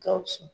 Gawusu